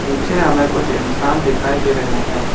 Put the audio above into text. पीछे हमें कुछ इंसान दिखाई दे रहे हैं।